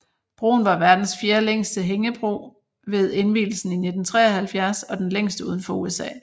Broen var verdens fjerde længste hægebro ved indvielsen i 1973 og den længste udenfor USA